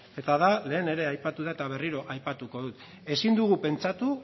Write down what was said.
eta da lehen ere aipatu da eta berriro aipatuko dut ezin dugu pentsatu